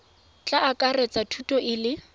tla akaretsa thuto e le